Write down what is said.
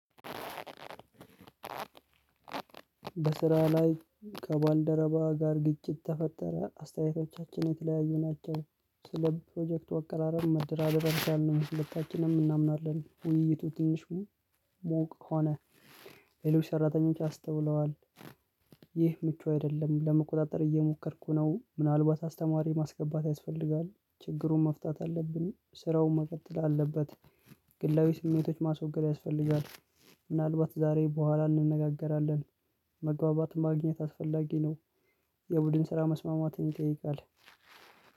በስራ ላይ ከባልደረባ ጋር ግጭት ተፈጠረ አስተያየቶቻችን የተለያዩ ናቸው። ስለ ፕሮጀክት አቀራረብ መደራደር ያልቻልነው ሁለታችንም እናምናለን ውይይቱ ትንሽ ሞቅ ከሆነ ሌሎች ሰራተኞች አስተውለዋል። ይህ ምቹ አይደለም ለመቆጣጠር እየሞከርኩ ነው። ምናልባት አስተማሪ ማስገባት ያስፈልጋል ችግሩን መፍታት አለብን ስራውን መቀጠል አለበት ግላዊ ስሜቶች ማስወገድ ያስፈልጋል። ምናልባት ዛሬ ቦኋላ እንነጋገራለን መግባባትን ማግኘት አስፈላጊ ነው። የቡድን ስራ መስማማትን ይጠይቃል።